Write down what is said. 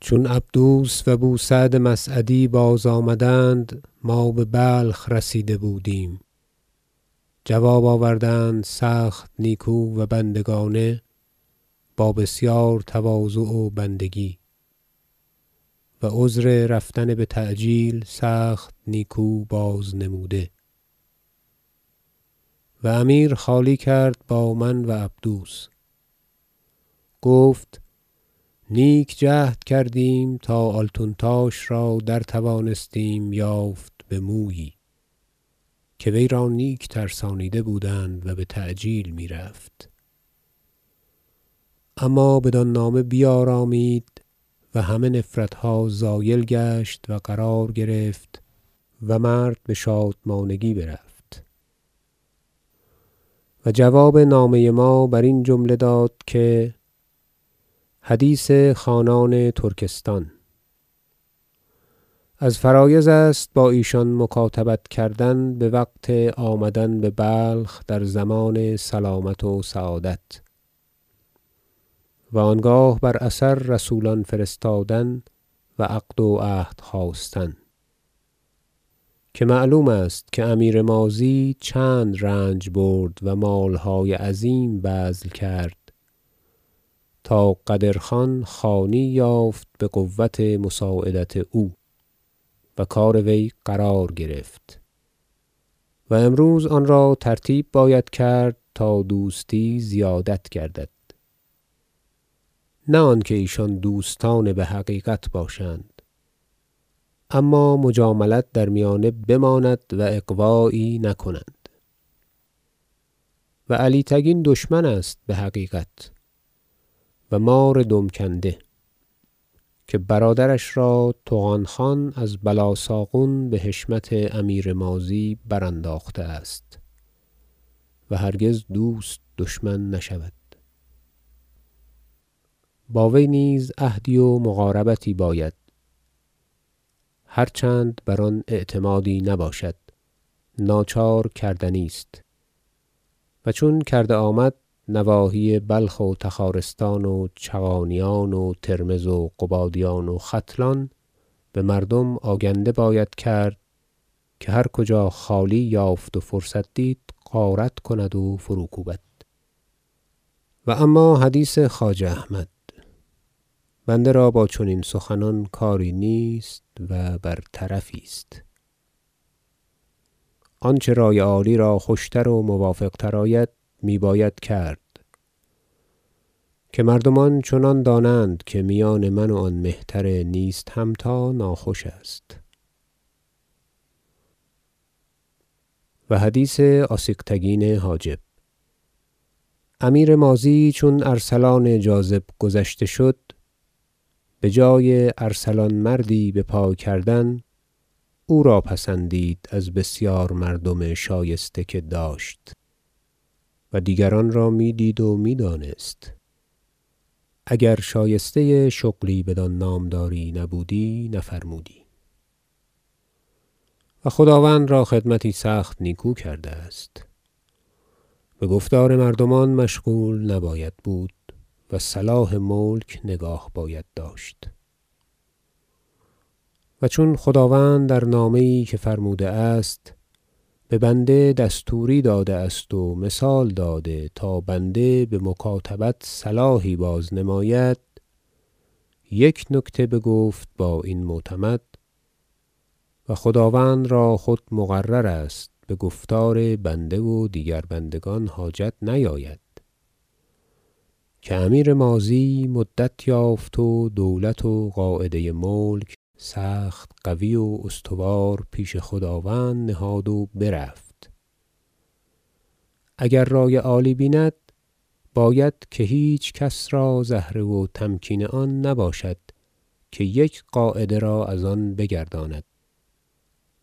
چون عبدوس و بوسعد مسعدی بازآمدند ما ببلخ رسیده بودیم جواب آوردند سخت نیکو و بندگانه با بسیار تواضع و بندگی و عذر رفتن بتعجیل سخت نیکو بازنموده و امیر خالی کرد با من و عبدوس گفت نیک جهد کردیم تا آلتونتاش را را درتوانستیم یافت بمویی که وی را نیک ترسانیده بودند و بتعجیل میرفت اما بدان نامه بیارامید و همه نفرتها زایل گشت و قرار گرفت و مرد بشادمانگی برفت و جواب نامه ما برین جمله داد که حدیث خانان ترکستان از فرایض است با ایشان مکاتبت کردن بوقت آمدن ببلخ در ضمان سلامت و سعادت و انگاه بر اثر رسولان فرستادن و عقد و عهد خواستن که معلوم است که امیر ماضی چند رنج برد و مالهای عظیم بذل کرد تا قدر خان خانی یافت بقوت مساعدت او و کار وی قرار گرفت و امروز آن را ترتیب باید کرد تا دوستی زیادت گردد نه آنکه ایشان دوستان بحقیقت باشند اما مجاملت در میانه بماند و اغوایی نکنند و علی تگین دشمن است بحقیقت و مار دم کنده که برادرش را طغان خان از بلاساغون بحشمت امیر ماضی برانداخته است و هرگز دوست دشمن نشود با وی نیز عهدی و مقاربتی باید هر چند بر آن اعتمادی نباشد ناچار کردنی است و چون کرده آمد نواحی بلخ و تخارستان و چغانیان و ترمذ و قبادیان و ختلان بمردم آگنده باید کرد که هر کجا خالی یافت و فرصت دید غارت کند و فروکوبد و اما حدیث خواجه احمد بنده را با چنین سخنان کاری نیست و بر طرفی است آنچه رأی عالی را خوشتر و موافق تر آید می باید کرد که مردمان چنان دانند که میان من و آن مهتر نیست همتا ناخوش است و حدیث آسیغتگین حاجب امیر ماضی چون ارسلان جاذب گذشته شد بجای ارسلان مردی بپای کردن او را پسندید از بسیار مردم شایسته که داشت و دیگران را میدید و میدانست اگر شایسته شغلی بدان نامداری نبودی نفرمودی و خداوند را خدمتی سخت نیکو کرده است بگفتار مردمان مشغول نباید بود و صلاح ملک نگاه باید داشت و چون خداوند در نامه یی که فرموده است به بنده دستوری داده است و مثال داده تا بنده بمکاتبت صلاحی بازنماید یک نکته بگفت با این معتمد- و خداوند را خود مقرر است بگفتار بنده و دیگر بندگان حاجت نیاید- که امیر ماضی مدت یافت و دولت و قاعده ملک سخت قوی و استوار پیش خداوند نهاد و برفت اگر رأی عالی بیند باید که هیچ کس را زهره و تمکین آن نباشد که یک قاعده را از آن بگرداند